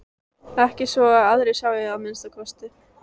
Ekki svo að aðrir sjái að minnsta kosti.